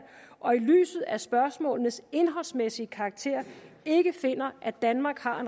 og i lyset af spørgsmålenes indholdsmæssige karakter ikke finder at danmark har